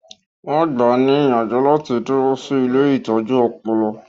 Wọn gbáà ní ìyànjú láti dúró sí ilée ìtọ́jú ọpọlọ